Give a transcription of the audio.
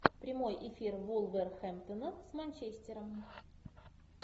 прямой эфир вулверхэмптона с манчестером